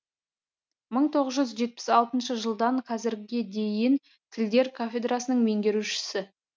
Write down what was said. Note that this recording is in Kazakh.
мың тоғыз жүз жетпіс алтыншы жылдан қазірге дейін тілдер кафедрасының меңгерушісі